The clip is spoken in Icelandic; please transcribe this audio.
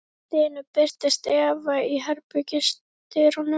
Allt í einu birtist Eva í herbergisdyrunum.